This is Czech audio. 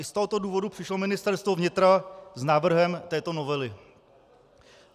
I z tohoto důvodu přišlo Ministerstvo vnitra s návrhem této novely.